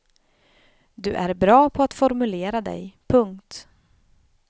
Du är bra på att formulera dig. punkt